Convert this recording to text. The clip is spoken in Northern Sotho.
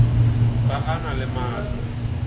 ga a na le maatla